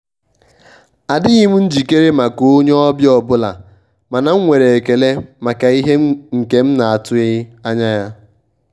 adịghị m njikere maka onye ọbịa ọbụla mana m nwere ekele maka ihe a nke m na--atụghị anya.